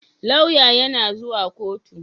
Lauya yana zuwa koto